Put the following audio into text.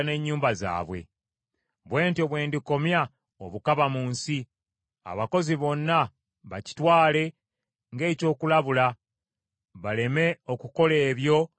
“Bwe ntyo bwe ndikomya obukaba mu nsi, abakazi bonna bakitwale ng’ekyokulabula, baleme okukola ebyo bye mwakola.